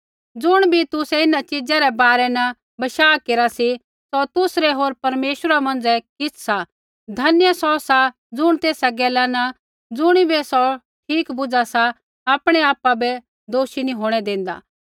ज़ुण बी तुसै इन्हां चिजा रै बारै न बशाह केरा सी सौ तुसरै होर परमेश्वरा मौंझ़ै किछ़ सा धन्य सौ सा ज़ुण तेसा गैला न ज़ुणिबै सौ ठीक बुझा सा आपणै आपा बै दोषी नी होंणै देंदा